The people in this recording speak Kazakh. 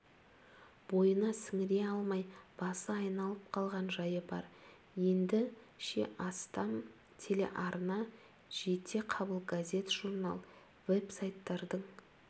бойына сіңіре алмай басы айналып қалған жайы бар енді ше астам телеарна жетеқабыл газет-журнал веб-сайттардың